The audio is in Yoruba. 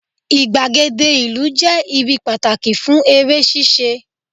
igbagede ìlú je ibi pàtàkì fún eré ṣíṣe